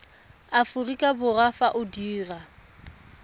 aforika borwa fa o dirwa